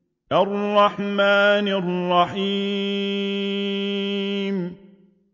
الرَّحْمَٰنِ الرَّحِيمِ